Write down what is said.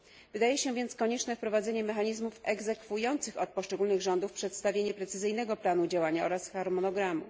Wydaje się więc konieczne wprowadzenie mechanizmów egzekwujących od poszczególnych rządów przedstawienie precyzyjnego planu działania oraz harmonogramu.